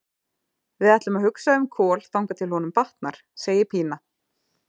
Við ætlum að hugsa um Kol þangað til honum batnar, segir Pína.